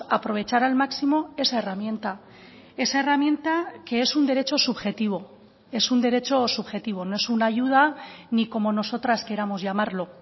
aprovechar al máximo esa herramienta esa herramienta que es un derecho subjetivo es un derecho subjetivo no es una ayuda ni como nosotras queramos llamarlo